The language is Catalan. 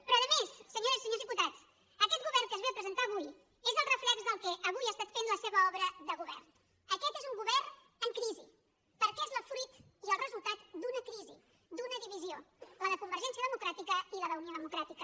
però a més senyores i senyors diputats aquest govern que es va a presentar avui és el reflex del que avui ha estat fent la seva obra de govern aquest és un govern en crisi perquè és el fruit i el resultat d’una crisi d’una divisió la de convergència democràtica i la d’unió democrà tica